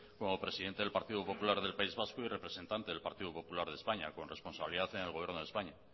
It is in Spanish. como presidente del partido popular del país vasco y representante del partido popular en españa con responsabilidad en el gobierno de españa